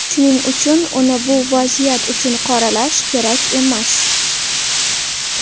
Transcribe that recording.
Shuning uchun uni bu vaziyat uchun qoralash kerak emas.